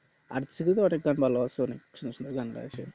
arijit sing আর অনেক গান ভালো আছে সুন্দর সুন্দর গান গাইছে